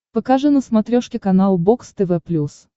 покажи на смотрешке канал бокс тв плюс